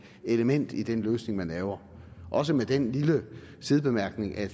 element i den løsning man laver også med den lille sidebemærkning at